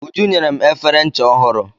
Uju nyere m efere ncha ọhụrụ.